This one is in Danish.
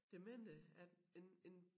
Demente at en en